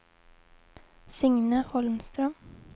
Signe Holmström